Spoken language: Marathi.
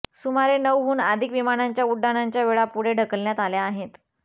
सुमारे नऊ हून अधिक विमानांच्या उड्डाणाच्या वेळा पुढे ढकलण्यात आल्या आहेत